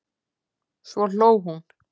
Svo hló hún.